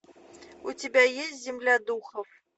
у тебя есть земля духов